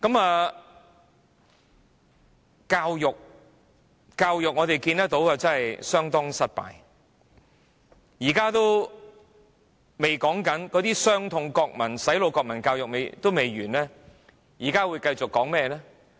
在教育方面，我們看到教育政策相當失敗，那些"洗腦"的國民教育仍未完結，現在會繼續說甚麼？